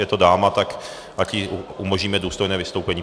Je to dáma, tak ať jí umožníme důstojné vystoupení.